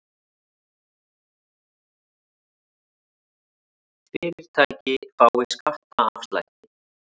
Fyrirtæki fái skattaafslætti